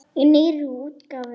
Í nýrri útgáfu!